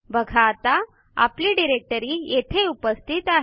बघा आता आपली डिरेक्टरी येथे उपस्थित आहे